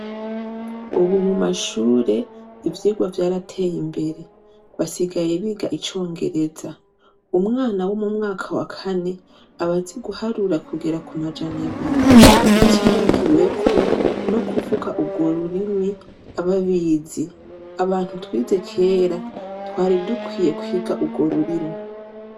Ubu mumashure ivyigwa vyarateye imbere basigaye biga icongereza, umwana wo mumwaka wa Kane aba azi guharura kugera kumajana abiri utibagiyeko no kuvuga ugworurimi aba abizi, abantu twize kera twari dukwiye kwiga ugwo rurimi.